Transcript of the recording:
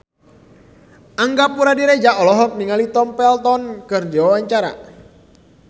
Angga Puradiredja olohok ningali Tom Felton keur diwawancara